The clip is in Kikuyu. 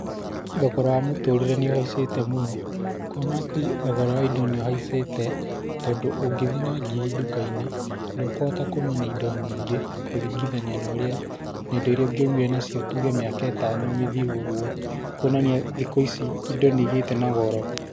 Thogora wa mũtũrĩre nĩ ũhaicĩte mũno, ũkona atĩ thogora wa indo nĩ ũhaicĩte tondũ ũngĩthiĩ na ngiri nduka-inĩ ndũkũhota kuma na indo nyingĩ, kũringithania na ũrĩa, na indo irĩa ũrĩngĩaumire nacio tuge ta miaka ĩtano mĩthiru ũguo, kuonania thikũ-ici indo nĩ igĩte na goro.